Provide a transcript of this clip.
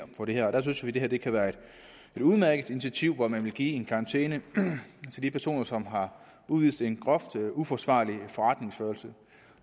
for det her og der synes vi at det kan være et udmærket initiativ at man vil give en karantæne til de personer som har udvist en groft uforsvarlig forretningsførelse